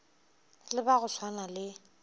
le ba go swana le